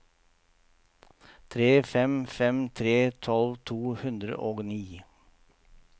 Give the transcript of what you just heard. tre fem fem tre tolv to hundre og ni